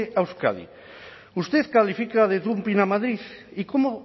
a euskadi usted califica de dumping a madrid y cómo